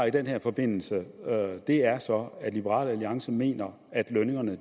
i den her forbindelse er så at liberal alliance mener at lønningerne